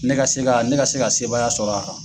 Ne ka se ka ne ka se ka sebaaya sɔrɔ a kan.